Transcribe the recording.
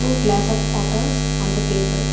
Glass of waters on the table.